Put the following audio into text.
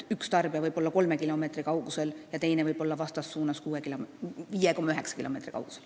Üks tarbija võib olla kolme kilomeetri kaugusel ja teine võib olla vastassuunas 5,9 kilomeetri kaugusel.